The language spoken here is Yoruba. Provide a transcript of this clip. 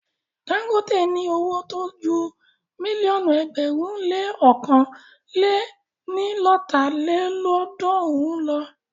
Dagote ní owó tó ju mílíọ̀nù ẹgbẹ̀rún le ọ̀kan lé ní lọ́ta lélọ́ọ̀dúnrún lọ.